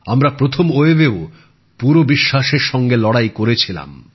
আমরা প্রথম ঢেউও পুরো বিশ্বাসের সঙ্গে লড়াই করেছিলাম